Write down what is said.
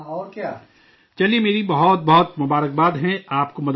چلئے، میری طرف سے آپ کو بہت بہت نیک خواہشات مدن موہن جی